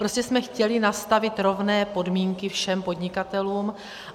Prostě jsme chtěli nastavit rovné podmínky všem podnikatelům.